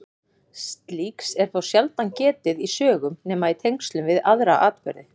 Slíks er þó sjaldan getið í sögum nema í tengslum við aðra atburði.